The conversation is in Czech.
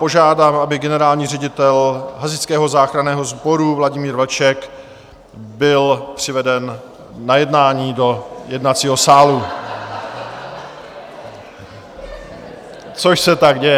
Požádám, aby generální ředitel hasičského záchranného sboru Vladimír Vlček byl přiveden na jednání do jednacího sálu, což se tak děje.